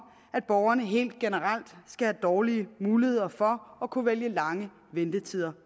at borgerne helt generelt skal have dårlige muligheder for at kunne vælge lange ventetider